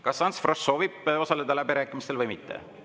Kas Ants Frosch soovib osaleda läbirääkimistel või mitte?